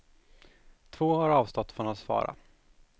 Två har avstått från att svara.